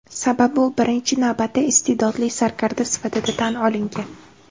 Sababi u birinchi navbatda iste’dodli sarkarda sifatida tan olingan.